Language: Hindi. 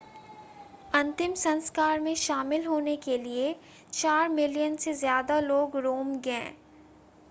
अंतिम संस्कार में शामिल होने के लिए चार मिलियन से ज़्यादा लोग रोम गए